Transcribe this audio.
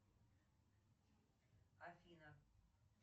афина